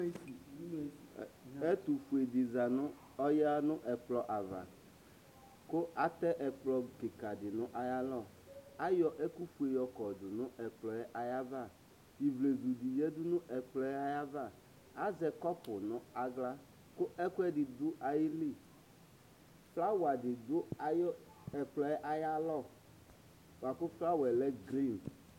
Ɛtʋƒue dɩ ɔƴa n'ɛƙplɔavaƘʋ atɛ ɛƙplɔ ƙɩƙa nʋ aƴalɔAƴɔ ɛƙʋ ƒue ƴɔƙɔdʋ n'ɛƙplɔɛ aƴavaIvlezu ɖɩ ƴǝɖu n'aƴava, azɛ ƙɔpʋ n'aɣla ƙʋ ɛƙʋɛɖɩ ɖʋ aƴiliƑlawa ɖɩ ɖʋ ɛƙplɔɛ aƴalɔ bʋa ƙʋ ƒlawaƴɛ lɛ gri